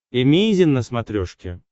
эмейзин на смотрешке